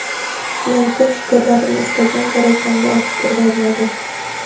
men ko‘p fikrlarimni istagan darajamda ochib berolmadim.